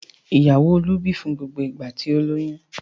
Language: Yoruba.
Ìyàwó Olú bì fún gbogbo ìgbà tí ó lóyún.